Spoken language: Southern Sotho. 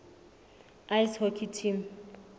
ice hockey team